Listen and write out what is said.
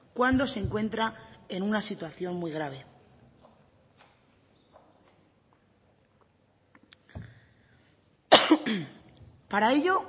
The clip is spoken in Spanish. cuando se encuentra en una situación muy grave para ello